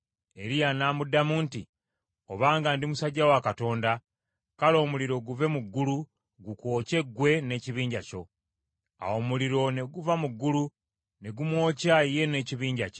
Eriya n’amuddamu nti, “Obanga ndi musajja wa Katonda, kale omuliro guve mu ggulu gukwokye ggwe n’ekibinja kyo.” Awo omuliro ne guva mu ggulu ne gumwokya ye n’ekibinja kye.